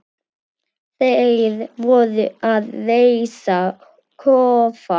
Þeir voru að reisa kofa.